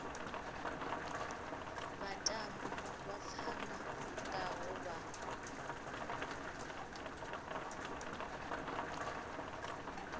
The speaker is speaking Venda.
vhatambi vha pfana ngaho vha